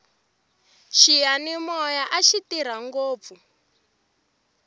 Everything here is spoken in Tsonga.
xiyanimoya axi tirha ngopfu